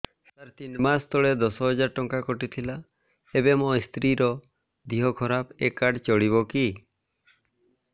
ସାର ତିନି ମାସ ତଳେ ଦଶ ହଜାର ଟଙ୍କା କଟି ଥିଲା ଏବେ ମୋ ସ୍ତ୍ରୀ ର ଦିହ ଖରାପ ଏ କାର୍ଡ ଚଳିବକି